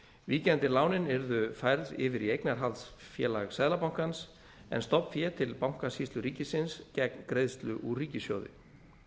víkjandi lánin yrðu færð yfir í eignarhaldsfélag seðlabankans en stofnfé til bankasýslu ríkisins gegn greiðslu úr ríkissjóði